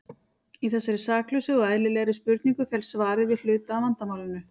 Í þessari saklausu og eðlilegri spurningu felst svarið við hluta af vandamálinu.